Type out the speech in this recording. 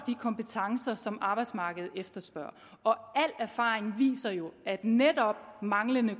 kompetencer som arbejdsmarkedet efterspørger al erfaring viser jo at netop manglende